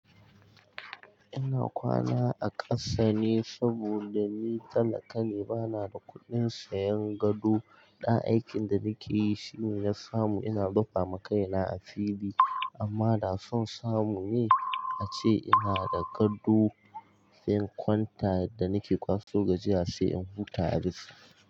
Ina kwana a ƙasa ne saboda ni talakane bana da kuɗin sayan gado. Ɗan aikin da nake yi shi ne ya samu ina rufa ma kaina asiri amma da son samu ni ace ina da gado. Sai in kwanta yadda nake kwaso gajiya sai in huta a dis.